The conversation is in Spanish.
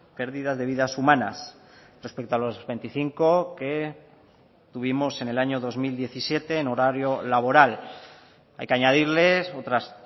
pérdidas de vidas humanas respecto a los veinticinco que tuvimos en el año dos mil diecisiete en horario laboral hay que añadirles otras